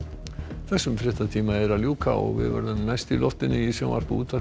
þessum fréttatíma er að ljúka og við verðum næst í loftinu í sjónvarpi og útvarpi